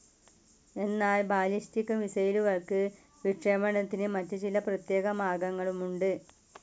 എന്നാൽ ബാലിസ്റ്റിക്‌ മിസ്സൈലുകൾക്ക് വിക്ഷേപണത്തിനു മറ്റു ചില പ്രത്യേക മാർഗങ്ങളുമുണ്ട്.